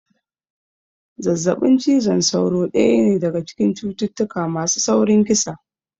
Zazzaɓin cizon sauro daya ne daga cikin cututtuka masu saurin kisa